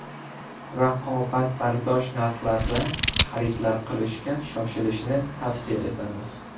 Raqobatbardosh narxlarda xaridlar qilishga shoshilishni tavsiya etamiz.